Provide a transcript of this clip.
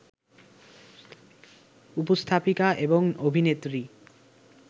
উপস্থাপিকা এবং অভিনেত্রী